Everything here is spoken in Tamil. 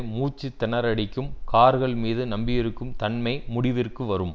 மூச்சு திணற அடிக்கும் கார்கள் மீது நம்பியிருக்கும் தன்மை முடிவிற்கு வரும்